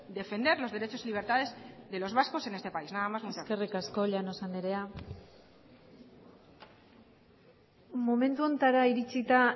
defender los derechos y libertades de los vascos en este país nada más muchas gracias eskerrik asko llanos andrea momentu honetara iritsita